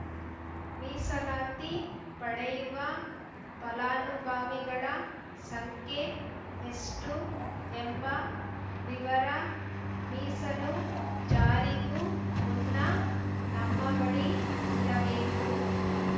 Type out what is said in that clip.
ಮೀಸಲಾತಿ ಪಡೆಯುವ ಫಲಾನುಭವಿಗಳ ಸಂಖ್ಯೆ ಎಷ್ಟುಎಂಬ ವಿವರ ಮೀಸಲು ಜಾರಿಗೂ ಮುನ್ನ ನಮ್ಮ ಬಳಿ ಇರಬೇಕು